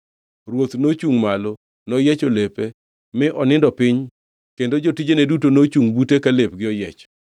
Ruoth nochungʼ malo, noyiecho lepe mi onindo piny kendo jotijene duto nochungʼ bute ka lepgi oyiech.